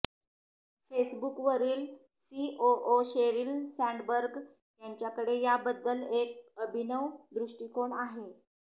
फेसबुकवरील COO Sheryl Sandberg यांच्याकडे याबद्दल एक अभिनव दृष्टिकोन आहे